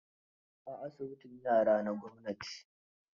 A asibitin yara na gwamnati